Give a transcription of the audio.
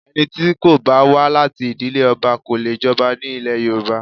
Ẹni tí kò bá wá láti ìdílé ọba kò lè jọba ní ilẹ̀ Yorùbá